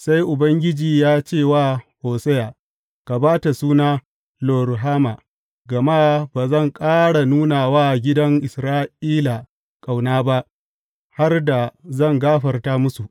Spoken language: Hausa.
Sai Ubangiji ya ce wa Hosiya, Ka ba ta suna, Lo Ruhama, gama ba zan ƙara nuna wa gidan Isra’ila ƙauna ba, har da zan gafarta musu.